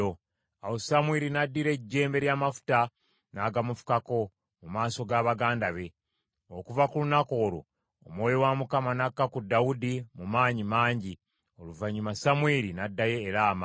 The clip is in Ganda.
Awo Samwiri n’addira ejjembe ly’amafuta, n’agamufukako mu maaso ga baganda be. Okuva ku lunaku olwo Omwoyo wa Mukama n’akka ku Dawudi mu maanyi mangi. Oluvannyuma Samwiri n’addayo e Laama.